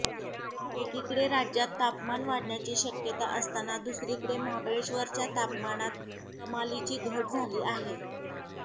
एकीकडे राज्यात तापमान वाढण्याची शक्यता असताना दुसरीकडे महाबळेश्वरच्या तापमानात कमालीची घट झाली आहे